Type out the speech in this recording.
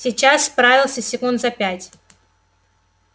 сейчас справился секунд за пять